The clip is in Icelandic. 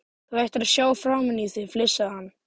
Þú ættir að sjá framan í þig! flissaði hann.